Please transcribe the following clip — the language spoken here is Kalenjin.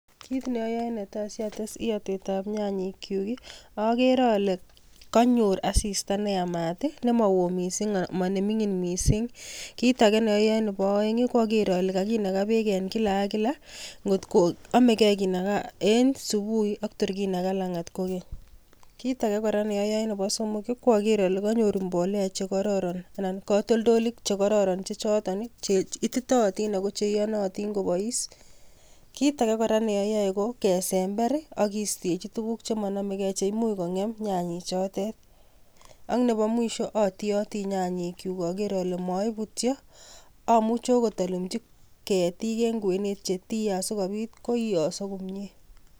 Kiit noyoe netai sates iyotet ab nyanyek kyuk ko akere ole kanyor asista neyamat, kakinaa beek en kila ak kila, nebo somok ko aker ole kanyor mbolea chekororon cheititotin anan ko cheiyonotonin kobois ak kesember kistechi tuguk chemonomegei simang'em nyanyek chotet ak nebo let atioti nyanyik kyuk aker ole moibutyo , amuch eakot alumji ketit en kwenet asikotii.